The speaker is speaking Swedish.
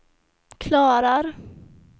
klarar